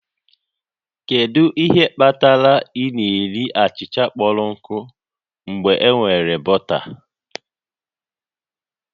Kedu ihe kpatara ị na-eri achịcha kpọrọ nkụ mgbe enwere bọta?